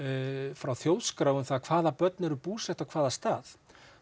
frá þjóðskrá um það hvaða börn eru búsett á hvaða stað